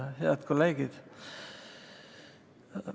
Head kolleegid!